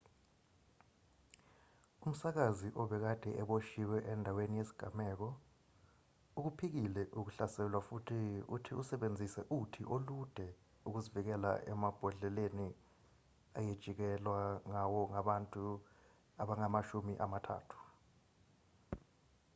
umsakazi obekade eboshiwe endaweni yesigameko ukuphikile ukuhlaselwa futhi uthi usebenzise uthi olude ukuzivikela emabhodleleni ayejikijelwa ngawo ngabantu abangaba amashumi amathathu